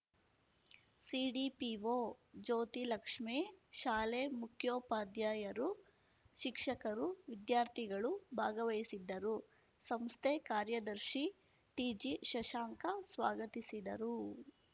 CDPO Jyothilakshmi ಶಾಲೆ ಮುಖ್ಯೋಪಾಧ್ಯಾಯರು ಶಿಕ್ಷಕರು ವಿದ್ಯಾರ್ಥಿಗಳು ಭಾಗವಹಿಸಿದ್ದರು ಸಂಸ್ಥೆ ಕಾರ್ಯದರ್ಶಿ ಟಿಜಿಶಶಾಂಕ ಸ್ವಾಗತಿಸಿದರು